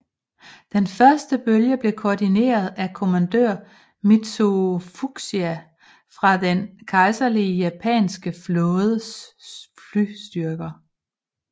Den første bølge blev koordineret af kommandør Mitsuo Fuchida fra den kejserlige japanske flådes flystyrker